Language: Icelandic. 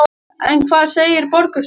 En hvað segir borgarstjóri?